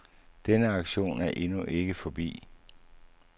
Denne aktion er endnu ikke forbi.